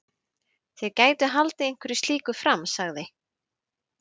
Þeir gætu haldið einhverju slíku fram sagði